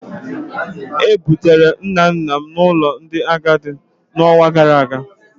E bugara nna nna m n'ụlọ ndị agadi n'ọnwa gara aga